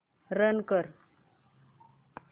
run कर